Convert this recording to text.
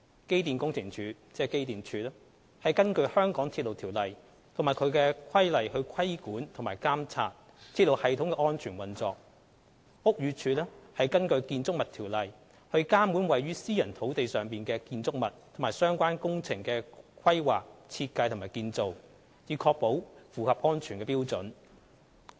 機電工程署根據《香港鐵路條例》及其規例規管及監察鐵路系統的安全運作；屋宇署則根據《建築物條例》監管位於私人土地上的建築物及相關工程的規劃、設計及建造，以確保符合安全標準。